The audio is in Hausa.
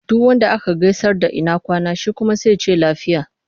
Duk wanda ka gaisar da ina kwana? Shi kuma sai ya ce lafiya.